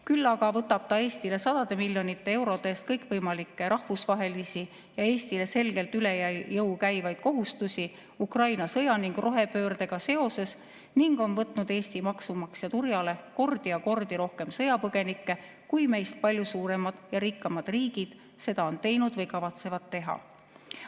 Küll aga võtab ta Eestile sadade miljonite eurode eest kõikvõimalikke rahvusvahelisi ja Eestile selgelt üle jõu käivaid kohustusi Ukraina sõja ning rohepöördega seoses ning on võtnud Eesti maksumaksja turjale kordi ja kordi rohkem sõjapõgenikke, kui meist palju suuremad ja rikkamad riigid seda on teinud või kavatsevad teha.